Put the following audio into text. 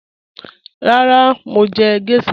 Rárá, mo ń jẹ̀ gẹ̀ṣhà.